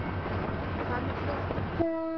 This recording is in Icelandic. Hvað með plottið?